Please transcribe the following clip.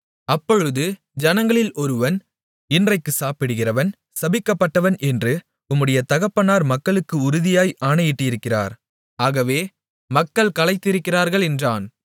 அப்பொழுது ஜனங்களில் ஒருவன் இன்றைக்கு சாப்பிடுகிறவன் சபிக்கப்பட்டவன் என்று உம்முடைய தகப்பனார் மக்களுக்கு உறுதியாய் ஆணையிட்டிருக்கிறார் ஆகவே மக்கள் களைத்திருக்கிறார்கள் என்றான்